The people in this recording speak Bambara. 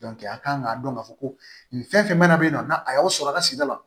a kan k'a dɔn k'a fɔ ko nin fɛn fɛn mana n'a a y'aw sɔrɔ a ka sigida la